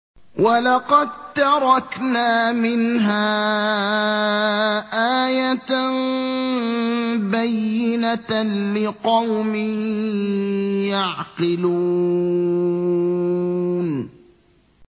وَلَقَد تَّرَكْنَا مِنْهَا آيَةً بَيِّنَةً لِّقَوْمٍ يَعْقِلُونَ